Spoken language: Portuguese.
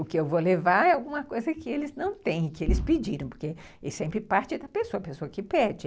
O que eu vou levar é alguma coisa que eles não têm, que eles pediram, porque eles sempre parte da pessoa, a pessoa que pede.